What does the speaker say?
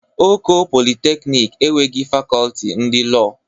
Oko Polịteknik enweghị Fakọlti ndị Lọọ.